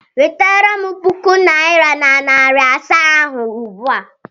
Wetara m puku naịra na narị asaa ahụ ugbu a!